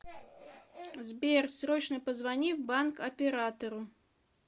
сбер срочно позвони в банк оператору